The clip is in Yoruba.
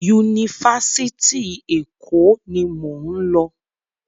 Yunifásitì Èkó ni mò ń lọ.